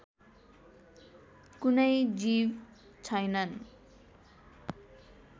कुनै जीव छैनन्